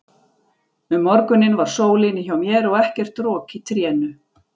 Um morguninn var sól inni hjá mér og ekkert rok í trénu.